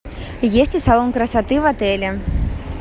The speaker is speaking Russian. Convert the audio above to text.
есть ли салон красоты в отеле